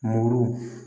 Muru